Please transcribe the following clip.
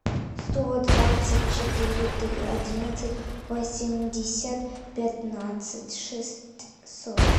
сто двадцать четыре три одиннадцать восемьдесят пятнадцать шестьсот